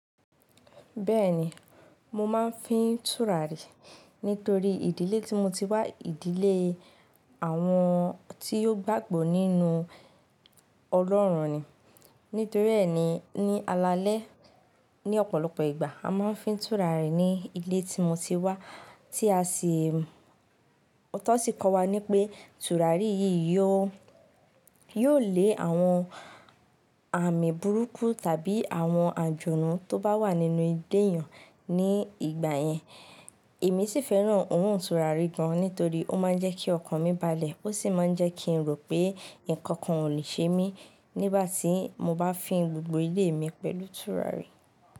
Bẹ́ẹ̀ni, mo máa ń fín tùràrí nítorí ìdílé tí mo ti wá, ìdílé àwọn tí ò gbàgbọ́ nínú Ọlọ́run ni. Nítorí ẹ́ ni ní alaalẹ́, ní ọ̀pọ̀lọpọ̀ ìgbà a máa ń fín tùràrí ní ilé tí mo ti wá, tí a sì, tọ̀ sì kọ́ wa ní pé tùràrí yìí yóò, yóò lé àwọn àmì burúkú tàbí àwọn àjọ̀nù tó bá wà nínú ilé èèyàn ní ìgbà yẹn. Èmi sì fẹ́ràn orun ìtura rí gan nítorí ó máa ń jẹ́ kí ọkàn mi balẹ̀, ó sì máa ń jẹ́ kí n rò pé ǹkan kan ò lè ṣe mí nígbà tí mo bá fín gbogbo ilé mi pẹ̀lú tùràrí.